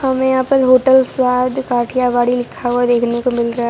हमें यहां पर होटल स्वाद कठियावादी लिखा हुआ देखने को मिल रहा--